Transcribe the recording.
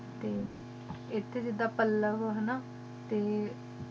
ਏ ਹਨ ਗੀ ਏਥੇ ਜਿਦਾਂ ਪਾਲਾ ਹੈ ਨਾ